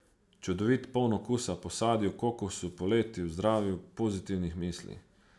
Čudovit, poln okusa po sadju, kokosu, poletju, zdravju, pozitivnih mislih.